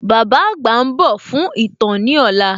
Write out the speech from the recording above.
Bàbá àgbà ń dò fún ītàn ní òla